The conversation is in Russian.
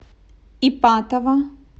ипатово